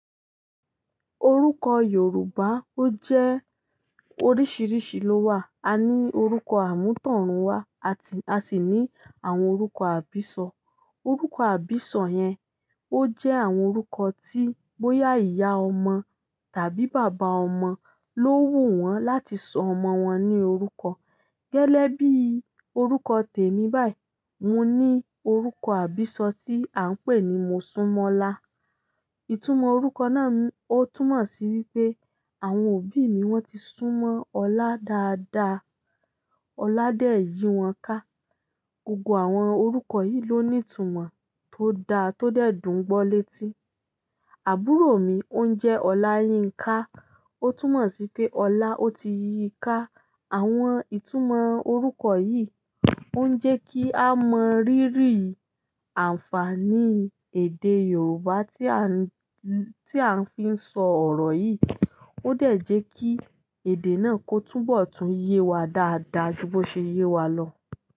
Orúkọ Yorùbá ó jẹ́ oríṣiríṣi ló wà. A ní orúkọ àmútọ̀runwá àti a sì ní àwọn orúkọ àbísọ. Orúkọ àbísọ yẹn ó jẹ́ àwọn orúkọ tí bóyá ìyá ọmọ tàbí bàbá ọmọ ló wù wọ́n láti sọ ọmọ wọn ní orúkọ. Gẹ́gebi orúkọ tèmí báyìí, mo ní orúkọ àbísọ tí à ń pè ní Mosúnmọ́lá. Ìtumọ̀ orúkọ náà ó túmọ̀ sí wípé àwọn òbí mi wọ́n ti súnmọ́ ọlá dáadáa, ọlá dẹ̀ yí wọn ká. Gogo àwọn orúkọ yìí ló ní ìtumọ̀ tó da tó dẹ̀ dùn gbọ létí. Àbúrò mi ó ń jẹ́ Oláyínká, ó túmọ̀ sí pé ọlá ó ti yí i ká. Àwọn ìtumọ̀ orúkọ yìí ó ń jẹ́ kí a mọ rírì àǹfààní èdè Yorùbá tí a ń, tí a fi ń sọ ọ̀rọ̀ yìí. Ó dẹ̀ jẹ́ kí èdè náà kó túnbọ̀ tún yé wa dáadáa ju bó ṣe yé wa lọ.